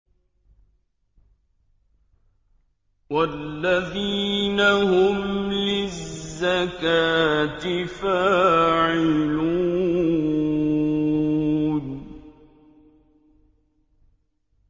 وَالَّذِينَ هُمْ لِلزَّكَاةِ فَاعِلُونَ